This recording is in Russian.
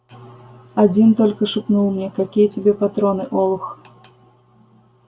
один только шепнул мне какие тебе патроны олух